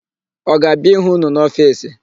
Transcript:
Ọ ga-abịa ịhụ ụnụ n'ofiisi?